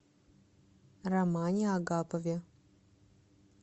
романе агапове